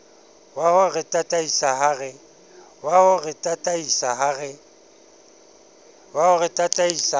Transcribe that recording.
waho re tataisa ha re